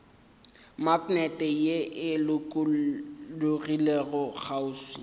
maknete ye e lokologilego kgauswi